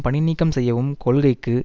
பணி நீக்கம் செய்யும் கொள்கைக்கு